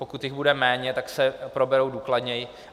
Pokud jich bude méně, tak se proberou důkladněji.